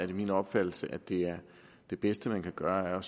det min opfattelse at det det bedste man kan gøre er